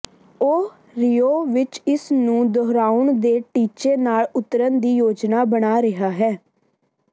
ਉਹ ਰੀਓ ਵਿੱਚ ਇਸ ਨੂੰ ਦੁਹਰਾਉਣ ਦੇ ਟੀਚੇ ਨਾਲ ਉਤਰਨ ਦੀ ਯੋਜਨਾ ਬਣਾ ਰਿਹਾ ਹੈ